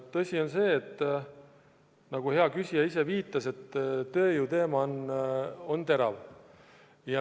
Tõsi on see, nagu ka hea küsija viitas, et tööjõu probleem on terav.